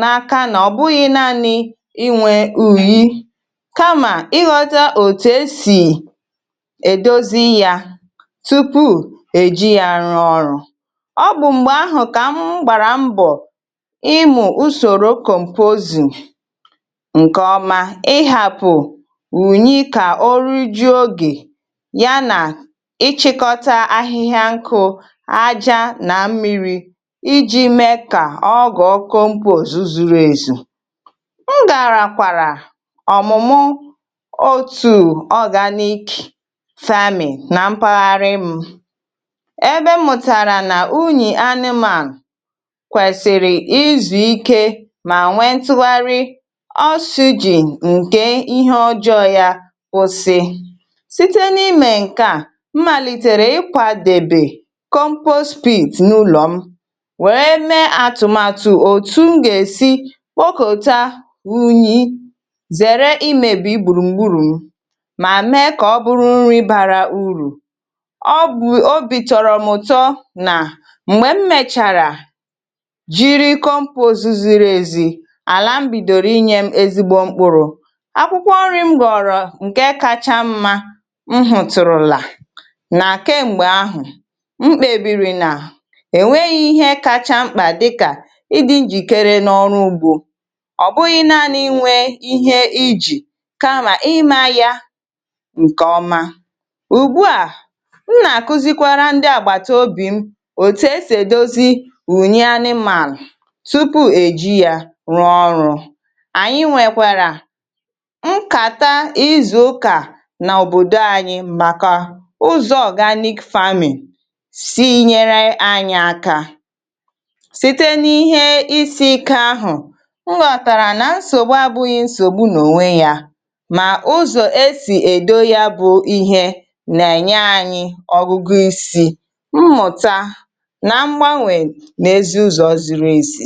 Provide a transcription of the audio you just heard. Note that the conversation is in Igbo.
n'ákà nà ọ bụghị nàanị ìnwè ụnyị kà mà ịghọ̀tà ètù esì èdọ̀zì yá tupu èjì yá rụ̀ọ ọrụ. Ọ bụ m̀gbè ahụ kà m gbàrà mbọ ịmụ̀ usòrò composium ǹke ọma ịhàpụ̀ ụnyị kà ọrụ juọ ògè yá nà ịchịkọ̀tà ahịhịa nkụ, àjà nà mmiri iji mee kà ọ gà ọghọ compose zụ̀rụ̀ èzù. M gàràkwàrà ọmụ̀mụ̀ ọtù organic farming nà mpàghàrị m, ebè m mụ̀tàrà nà ụnyị anịmàn kwèsìrì ịzụ̀ ịke mà nwee ntùghàrị oxygen ǹke ihè ọjọ yá kwụ̀sị. Sị̀tè n'ime nke à, m m̀màlịtẹ̀rẹ̀ ịkwàdèbè compost pit n'ụlọ m wèè mèè àtùmàtụ òtù m gà-èsì kwọ̀kọ̀tà ụnyị zèrè imèbị gbùrùgbùrụ m, mà mèè kà ọ bụrụ nrị bàrà ùrù. Ọ bụ, obì tọ̀rò m ụtọ nà m̀gbè m mèchàrà jị̀ compost ziri èzì, àlà m bìdọ̀rọ̀ ịnyè m èzìgbọ mkpụrụ. Akwụ̀kwọ nrị m ghọ̀rọ̀ nke kàchà mmà nhùtùrùlà nà ke m̀gbè ahụ mkpèbìrị nà ènweghị ihè kàchà mkpà dịkà ịdị njìkèrè n'ọrụ ùgbọ, ọ bụghị nàanị ìnwè ihè ijì kà mà ịmà yá ǹke ọma. Ùgbù à m nà-àkụ̀zì kwàrà ndị àgbàtà obì m òtù esì dọ̀zì ụnyị anịmànụ tupu è jí yá rụ̀ọ ọrụ. Ànyị nwèèkwàrà m kàtà ịzụ̀ ùkà n'òbòdọ ànyị màkà ùzọ organic farming sị̀ nỳèrè ànyị àkà sị̀tè n'ihè isi ike ahụ, m ghọ̀tàrà nà nsògbù àbụghị nsògbù n'ọnwè yá mà ùzọ esì èdọ̀zì yá bụ ihè nà-ènyè ànyị ọgụ̀gụ̀ isi, mmụ̀tà nà mgbanwè n'èzì ùzọ ziri èzì.